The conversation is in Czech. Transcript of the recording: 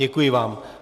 Děkuji vám.